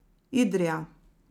Idrija.